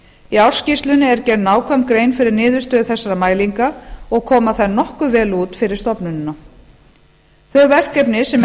í ársskýrslunni er gerð nákvæm grein fyrir niðurstöðu þessara mælinga og koma þær nokkuð vel út fyrir stofnunina þau verkefni sem